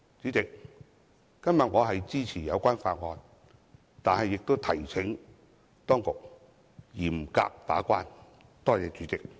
主席，我今天是支持有關法案，但亦提請當局嚴格把關。